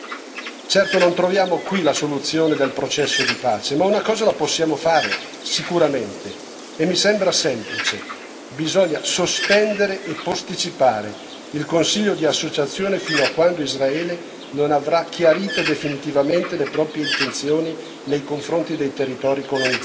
Certo non troviamo qui la soluzione del processo di pace, ma una cosa la possiamo fare sicuramente e mi sembra semplice bisogna sospendere e posticipare il Consiglio di associazione fino a quando Israele non avrà chiarito definitivamente le proprie intenzioni nei confronti dei territori colonizzati.